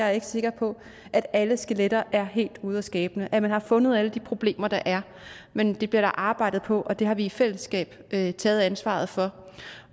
er sikker på at alle skeletter er helt ude af skabet at man har fundet alle de problemer der er men der bliver arbejdet på og det har vi i fællesskab taget taget ansvaret for